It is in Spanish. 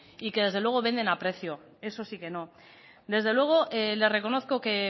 y que desde luego venden a precio eso sí que no desde luego le reconozco que